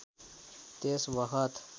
त्यस बखत